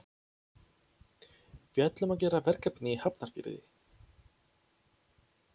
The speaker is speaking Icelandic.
Við ætlum að gera verkefni í Hafnarfirði.